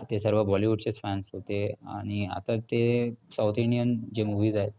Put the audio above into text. आधी सगळं bollywood चेच fans होते. आणि आता ते south indian जे movies आहेत.